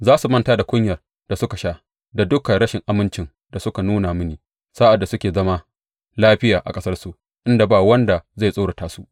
Za su manta da kunyar da suka sha da dukan rashin amincin da suka nuna mini sa’ad da suke zama lafiya a ƙasarsu inda ba wanda zai tsorata su.